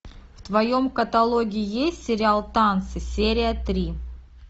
в твоем каталоге есть сериал танцы серия три